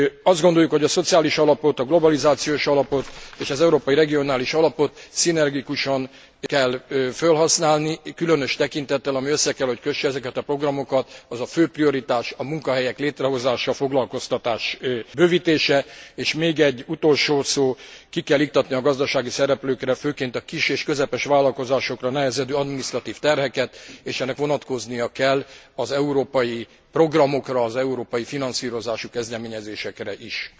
Azt gondoljuk, hogy a Szociális Alapot, a Globalizációs Alapot és a Európai Regionális Alapot szinergikusan kell fölhasználni, különös tekintettel, ami össze kell, hogy kösse ezeket a programokat az a fő prioritás a munkahelyek létrehozása, foglalkoztatás bővítése, és még egy utolsó szó ki kell iktatni a gazdasági szereplőkre, főként a kis és közepes vállalkozásokra nehezedő adminisztratív terheket, és ennek vonatkoznia kell az európai programokra, az európai finanszírozási kezdeményezésekre is.